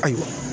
Ayiwa